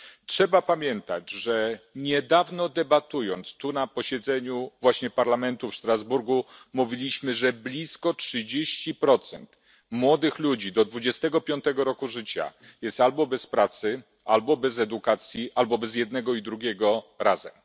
Trzeba pamiętać, że niedawno debatując tu na posiedzeniu właśnie Parlamentu w Strasburgu, mówiliśmy, że blisko 30 procent młodych ludzi do 25 roku życia jest albo bez pracy, albo bez edukacji, albo bez jednego i drugiego razem.